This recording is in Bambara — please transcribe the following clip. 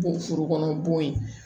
Bɔ foro kɔnɔ bɔn ye